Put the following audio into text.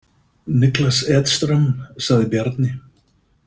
Niklas Edström, sagði Bjarni.